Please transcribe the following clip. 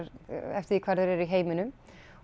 eftir því hvar þeir eru í heiminum